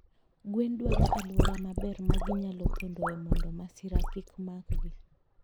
Gwen dwaro aluora maber maginyalo pondoe mondo masira kik makgi